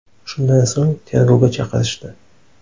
Shundan so‘ng tergovga chaqirishdi.